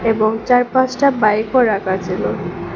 এবং চার পাঁচটা বাইকও রাখা ছিল।